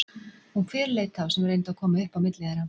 Hún fyrirleit þá sem reyndu að koma upp á milli þeirra.